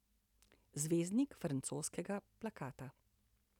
Zvezdnik francoskega plakata.